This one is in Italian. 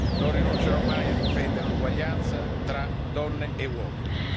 Non rinuncerò mai a difendere l'uguaglianza tra donne e uomini.